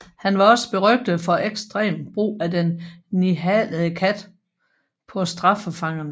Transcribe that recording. Han var også berygtet for ekstrem brug af den nihalede kat på straffefangerne